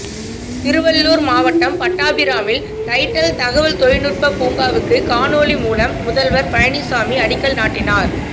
திருவள்ளூர் மாவட்டம் பட்டாபிராமில் டைடல் தகவல் தொழில்நுட்ப பூங்காவுக்கு காணொலி மூலம் முதல்வர் பழனிசாமி அடிக்கல் நாட்டினார்